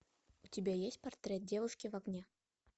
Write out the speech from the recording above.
у тебя есть портрет девушки в огне